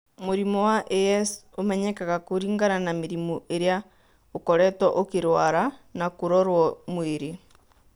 Mũrimũ wa AS ũmenyekanaga kũringana na mĩrimũ ĩrĩa ũkoretwo ũkĩrũara na kũrorũo mwĩrĩ.